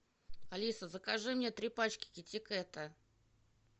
алиса закажи мне три пачки китикета